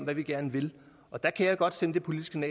hvad vi gerne vil der kan jeg godt sende det politiske